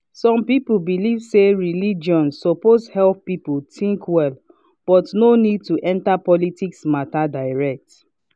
some people believe say religion suppose help people think well but no need to enter politics matter direct.